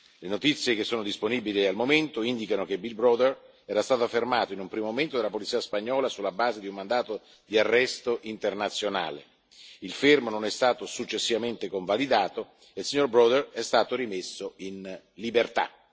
Le notizie che sono disponibili al momento indicano che Bill Browder era stato fermato in un primo momento dalla polizia spagnola sulla base di un mandato di arresto internazionale, il fermo non è stato successivamente convalidato e Bill Browder è stato rimesso in libertà.